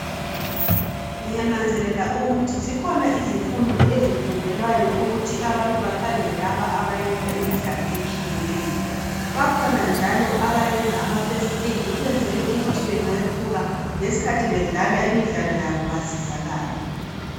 ngiyananzelela ukuthi zikhona izifundo ezifundelwayo ukuthi abantu bakhangele labo abayenza imidalo etshiyeneyo bakhona njalo abayenza ama first aid ukuyenzela ukuthi kweinye isikhathi bengephuka bedlala imidlalo yabo besizakale